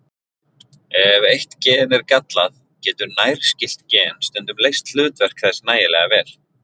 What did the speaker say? Ef eitt gen er gallað, getur nærskylt gen stundum leyst hlutverk þess nægilega vel.